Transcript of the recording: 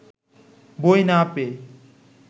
বই না পেয়ে